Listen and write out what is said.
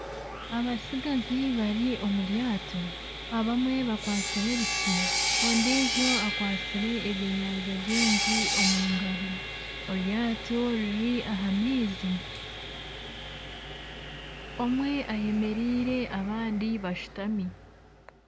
Abatsigazi bari omuryato, abamwe bikwatsire ebiti, ondiijo akwatsire ebyenyanja bingi omu ngaro eryato riri aha maizi. Omwe ayemereire abandi bashutami.